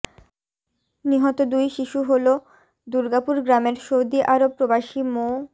নিহত দুই শিশু হলো দুর্গাপুর গ্রামের সৌদিআরব প্রবাসী মো